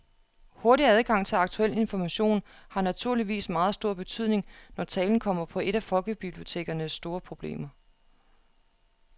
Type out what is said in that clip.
Hurtig adgang til aktuel information har naturligvis meget stor betydning, når talen kommer på et af folkebibliotekernes store problemer.